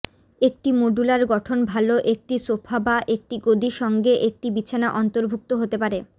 একটি মডুলার গঠন ভাল একটি সোফা বা একটি গদি সঙ্গে একটি বিছানা অন্তর্ভুক্ত হতে পারে